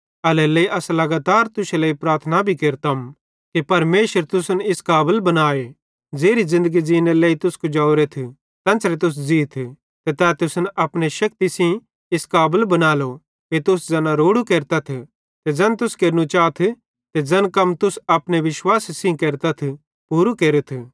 एल्हेरेलेइ अस लगातार तुश्शे लेइ प्रार्थना भी केरतम कि परमेशर तुसन इस काबल बनाए ज़ेरी ज़िन्दगी ज़ींनेरे लेइ तुस कुजवरे तेन्च़रे तुस ज़ीथ ते तै तुसन अपने शेक्ति सेइं इस काबल बनालो कि तुस ज़ैना रोड़ू केरथ ते ज़ैन तुस केरनू चाथ ते ज़ैन कम तुस अपने विश्वासे सेइं केरतथ पूरू केरथ